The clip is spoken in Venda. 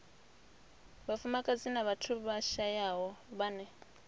vhafumakadzi na vhathu vhashayaho vhane